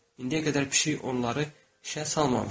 İndiyə qədər pişik onları işə salmamışdı.